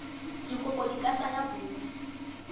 dikopo di ka tsaya bontsi